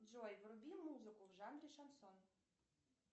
джой вруби музыку в жанре шансон